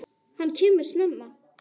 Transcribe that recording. Hann kemur snemma.